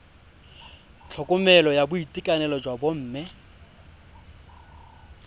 tlhokomelo ya boitekanelo jwa bomme